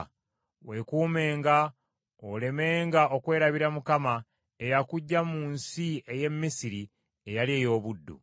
weekuumenga olemenga okwerabira Mukama eyakuggya mu nsi ey’e Misiri eyali ey’obuddu.